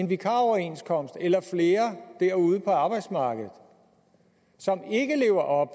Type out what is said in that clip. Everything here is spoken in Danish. vikaroverenskomster derude på arbejdsmarkedet som ikke lever op